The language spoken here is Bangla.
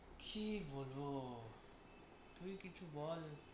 কী বলব? তুই কিছু বল।